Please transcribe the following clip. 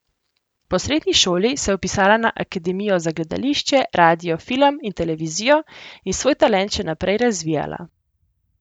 Po srednji šoli se je vpisala na Akademijo za gledališče, radio, film in televizijo in svoj talent še naprej razvijala.